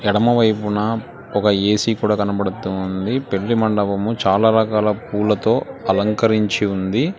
ఎడమవైపున ఒక ఏసీ కూడా కనబడుతుంది పెళ్లి మండపము చాలా రకాల పూలతో అలంకరించి ఉంది.